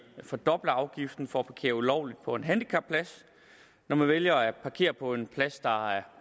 fordoble afgiften for at parkere ulovligt på en handicapplads når man vælger at parkere på en plads der er